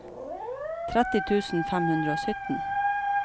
tretti tusen fem hundre og sytten